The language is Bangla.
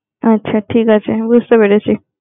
আচ্ছা ঠিক আছে বুঝতে পেরেছি।